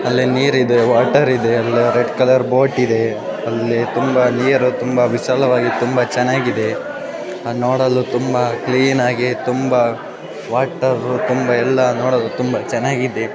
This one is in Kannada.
ಅಲ್ಲಿ ನೀರಿದೆ ವಾಟರ್ ಇದೆ ರೆಡ್ ಕಲರ್ ಬೋಟಿದೆ ಅಲ್ಲಿ ನೀರು ತುಂಬಾ ವಿಶಾಲವಾಗಿ ತುಂಬಾ ಚೆನ್ನಾಗಿದೆ ನೋಡಲು ತುಂಬಾ ಕ್ಲೀನಾಗಿ ತುಂಬಾ ವಾಟರ್ ನೋಡಲು ತುಂಬಾ ಕ್ಲೀನಾಗಿದೆ